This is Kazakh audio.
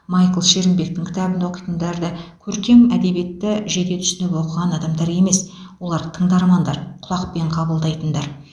майкл шерімбектің кітабын да оқитындар да көркем әдебиетті жете түсініп оқыған адамдар емес олар тыңдармандар құлақпен қабылдайтындар